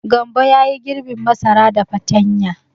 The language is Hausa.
Gambo ya yi girbin masara da fatanya.